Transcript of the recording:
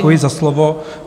Děkuji za slovo.